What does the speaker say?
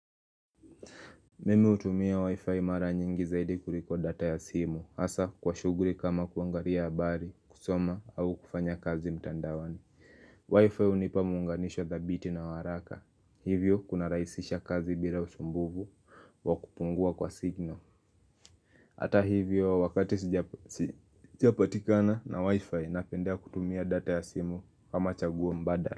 Mimi hutumia wi-fi mara nyingi zaidi kuliko data ya simu, hasa kwa shughuli kama kuangalia habari, kusoma, au kufanya kazi mtandaoni, wi-fi hunipa muunganisho dhabiti na wa haraka, hivyo kunarahisisha kazi bila usumbufu wa kupungua kwa signal Hata hivyo wakati sijapatikana na wi-fi napendea kutumia data ya simu kama chaguo mbadala.